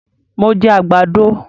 Mo jẹ àgbàdo